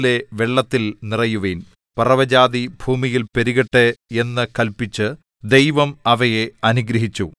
നിങ്ങൾ വർദ്ധിച്ചു പെരുകി സമുദ്രത്തിലെ വെള്ളത്തിൽ നിറയുവിൻ പറവജാതി ഭൂമിയിൽ പെരുകട്ടെ എന്നു കല്പിച്ചു ദൈവം അവയെ അനുഗ്രഹിച്ചു